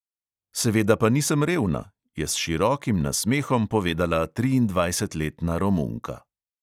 "Seveda pa nisem revna," je s širokim z nasmehom povedala triindvajsetletna romunka.